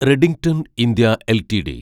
Redington India LTD